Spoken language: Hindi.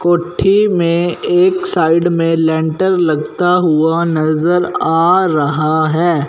कोठी में एक साइड में लेंटर लगता हुआ नजर आ रहा है।